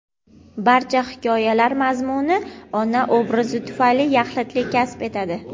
Barcha hikoyalar mazmuni ona obrazi tufayli yaxlitlik kasb etadi.